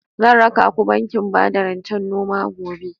Zan raka ku bankin bada rancen noma gobe.